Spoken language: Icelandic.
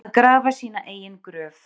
Að grafa sína eigin gröf